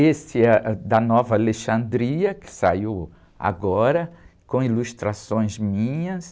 Esse é ãh, da Nova Alexandria, que saiu agora, com ilustrações minhas.